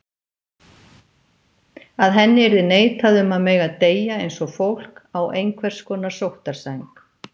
Að henni yrði neitað um að mega deyja eins og fólk, á einhvers konar sóttarsæng.